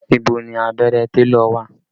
Ibo ni abẹ́rẹ́ télọ̀ wà?